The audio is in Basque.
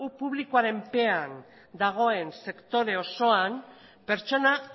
publikoaren menpean dagoen sektore osoan pertsona